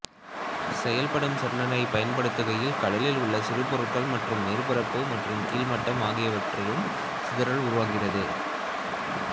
செயல்படும் சொனாரைப் பயன்படுத்துகையில் கடலில் உள்ள சிறு பொருட்கள் மற்றும் மேற்பரப்பு மற்றும் கீழ் மட்டம் ஆகியவற்றாலும் சிதறுதல் உருவாகிறது